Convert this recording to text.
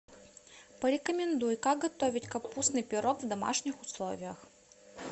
порекомендуй как готовить капустный пирог в домашних условиях